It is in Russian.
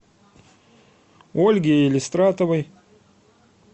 ольге елистратовой